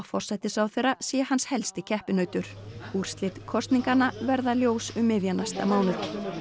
forsætisráðherra sé hans helsti keppinautur úrslit kosninganna verða ljós um miðjan næsta mánuð